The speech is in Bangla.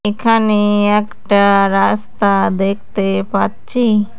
এখানে একটা রাস্তা দেখতে পাচ্ছি।